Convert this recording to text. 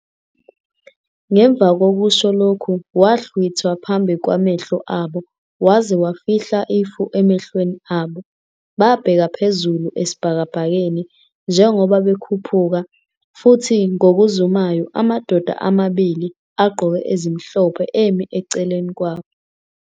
Ngemva kokusho lokhu, wahlwithwa phambi kwamehlo abo waze wafihla ifu emehlweni abo. Babheka phezulu esibhakabhakeni njengoba bekhuphuka, futhi ngokuzumayo amadoda amabili agqoke ezimhlophe emi eceleni kwabo.